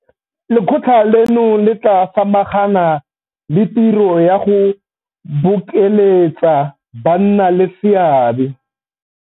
Lekgotla leno le tla samagana le tiro ya go bokeletsa bannaleseabe